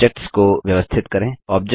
objects को व्यवस्थित करें